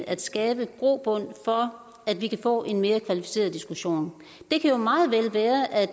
at skabe grobund for at vi kan få en mere kvalificeret diskussion det kan jo meget vel være at